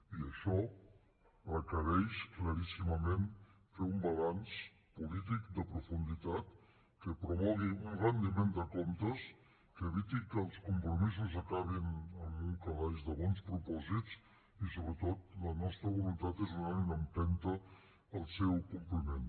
i això requereix claríssimament fer un balanç polític de profunditat que promogui un retiment de comptes que eviti que els compromisos acabin en un calaix de bons propòsits i sobretot la nostra voluntat és donar una empenta al seu compliment